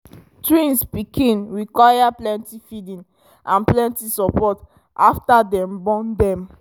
twins pikin require pleny feeding and plenty support after dem born dem